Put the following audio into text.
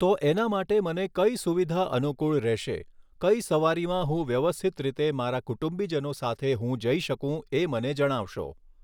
તો એના માટે મને કઈ સુવિધા અનુકૂળ રહેશે કઈ સવારીમાં હું વ્યવસ્થિત રીતે મારા કુટુંબીજનો સાથે હું જઈ શકું એ મને જણાવશો